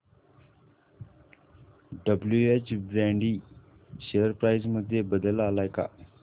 WH Brady share price मध्ये बदल आलाय का